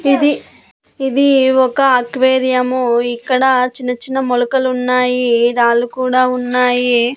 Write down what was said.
ఇది ఇది ఒక అక్వేరియంము ఇక్కడ చిన్న చిన్న మొలకలు ఉన్నాయి రాళ్ళు కూడా ఉన్నాయి.